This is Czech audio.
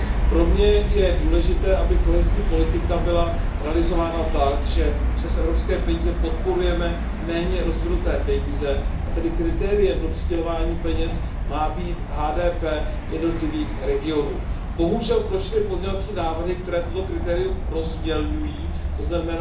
Pro mne je důležité, aby kohezní politika byla realizována tak, že přes evropské peníze podporujeme méně rozvinuté regiony, a tedy kritériem pro přidělování peněz má být HDP jednotlivých regionů. Bohužel prošly pozměňovací návrhy, které toto kritérium rozmělňují, tzn.